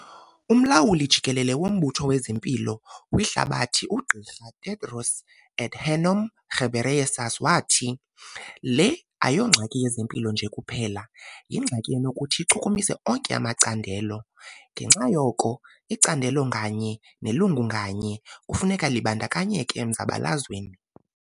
Umlawuli jikelele woMbutho wezeMpilo kwiHlabathi, uGqr Tedros Adhanom Ghebreyesus, wathi, "Le ayisiyongxaki yezempilo nje kuphela, yingxaki enokuthi ichukumise onke amacandelo - ngenxa yoko icandelo ngalinye nelungu ngalinye kufuneka libandakanyeke emzabalazweni".